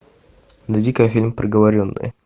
найди ка фильм приговоренные